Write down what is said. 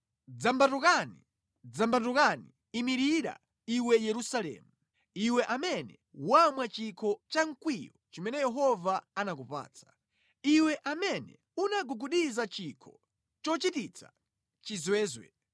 Dzambatuka, dzambatuka! Imirira iwe Yerusalemu. Iwe amene wamwa chikho cha mkwiyo chimene Yehova anakupatsa. Iwe amene unagugudiza chikho chochititsa chizwezwe.